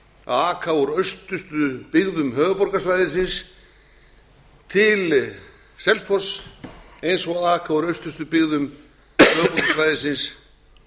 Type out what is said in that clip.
að aka úr austustu byggðum höfuðborgarsvæðisins til selfoss eins og aka úr austustu byggðum höfuðborgarsvæðisins